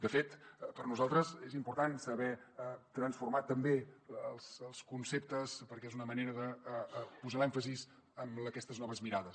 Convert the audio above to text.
de fet per a nosaltres és important saber transformar també els conceptes perquè és una manera de posar l’èmfasi en aquestes noves mirades